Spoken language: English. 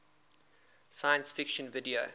science fiction video